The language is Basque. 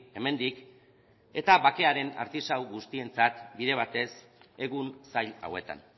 hemendik eta bakearen artisau guztientzat bide batez egun zail hauetan